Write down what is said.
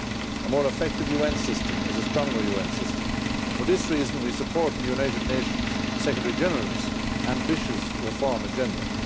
A more effective UN system is a stronger UN system and, for this reason, we support the United Nations Secretary-General's ambitious reform agenda.